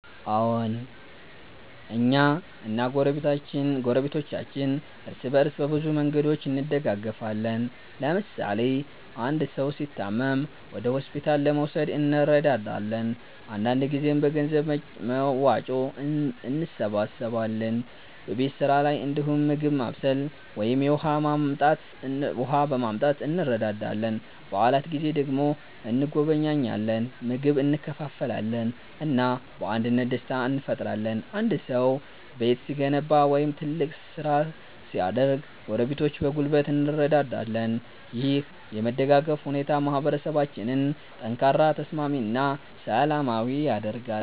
አዎን፣ እኛ እና ጎረቤቶቻችን እርስ በእርስ በብዙ መንገዶች እንደጋገፋለን። ለምሳሌ አንድ ሰው ሲታመም ወደ ሆስፒታል ለመውሰድ እንረዳለን፣ አንዳንድ ጊዜም በገንዘብ መዋጮ እንሰብስባለን። በቤት ስራ ላይ እንዲሁም ምግብ ማብሰል ወይም የውሃ ማመጣት እንረዳዳለን። በዓላት ጊዜ ደግሞ እንጎበኛለን፣ ምግብ እንካፈላለን እና በአንድነት ደስታ እንፈጥራለን። አንድ ሰው ቤት ሲገነባ ወይም ትልቅ ስራ ሲያደርግ ጎረቤቶች በጉልበት እንረዳለን። ይህ የመደጋገፍ ሁኔታ ማህበረሰባችንን ጠንካራ፣ ተስማሚ እና ሰላማዊ ያደርጋል።